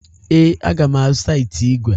Ee, aga m azụta ite igwe.